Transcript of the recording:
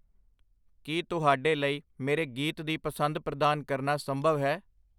ਕੀ ਤੁਹਾਡੇ ਲਈ ਮੇਰੇ ਗੀਤ ਦੀ ਪਸੰਦ ਪ੍ਰਦਾਨ ਕਰਨਾ ਸੰਭਵ ਹੈ?